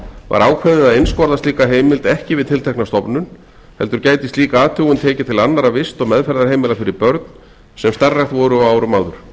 var ákveðið að einskorða slíka heimild ekki við tiltekna stofnun heldur gæti slík athugun tekið til annarra vist og meðferðarheimila fyrir börn sem starfrækt voru á árum áður